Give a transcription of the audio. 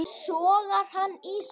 Sogar hann í sig.